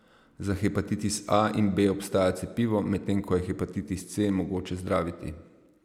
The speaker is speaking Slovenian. Za hepatitis A in B obstaja cepivo, medtem ko je hepatitis C mogoče zdraviti.